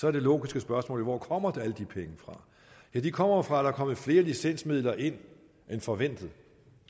er det logiske spørgsmål jo hvor kommer alle de penge fra jo de kommer fra at der er kommet flere licensmidler ind end forventet